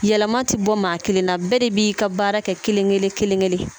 Yɛlɛma tɛ bɔ maa kelen na bɛɛ de b'i ka baara kɛ kelen-kelen kelen-kelen